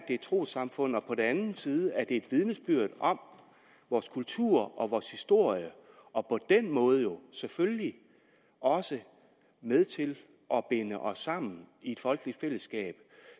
et trossamfund og på den anden side er den et vidnesbyrd om vores kultur og vores historie og på den måde jo selvfølgelig også med til at binde os sammen i et folkeligt fællesskab